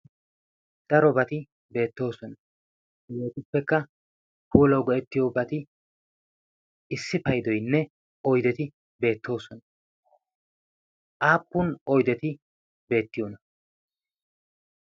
darobati beettoosona heetuppekka huulawu go'ettiyobati issi paydoynne oydeti beettoosona aappun oydeti beettiyoona